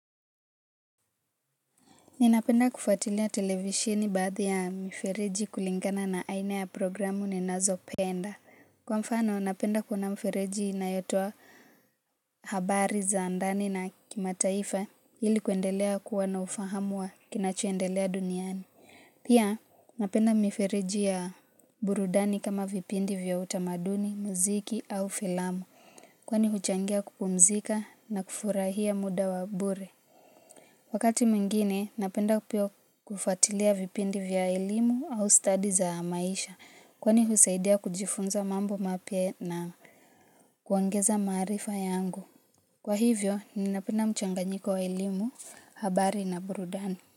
Ninapenda kufuatilia televisheni baadhi ya mifereji kulingana na aina ya programu ninazo penda. Kwa mfano, napenda kuona mifereji inayotoa habari za ndani na kimataifa ili kuendelea kuwa na ufahamu wa kinachoendelea duniani. Pia, napenda mifereji ya burudani kama vipindi vya utamaduni, muziki au filamu. Kwani huchangia kupumzika na kufurahia muda wa bure. Wakati mwingine, napenda pia kufuatilia vipindi vya elimu au study za maisha kwani husaidia kujifunza mambo mapya na kuongeza maarifa yangu. Kwa hivyo, ninapenda mchanganyiko wa elimu, habari na burudani.